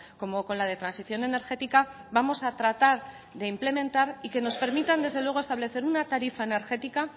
como con la de transición energética vamos a tratar de implementar y que nos permitan desde luego establecer una tarifa energética